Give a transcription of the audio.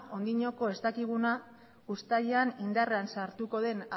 oraindik ez dakiguna uztailean indarrean sartuko den